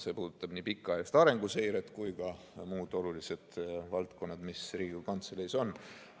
See puudutab nii pikaajalist arenguseiret kui ka muid olulisi valdkondi, mis Riigikogu Kantseleis on.